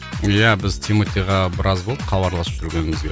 иә біз тиматиға біраз болды хабарласып жүргенімізге